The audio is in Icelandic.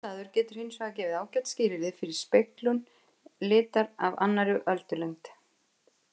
Sami staður getur hins vegar gefið ágæt skilyrði fyrir speglun litar af annarri öldulengd.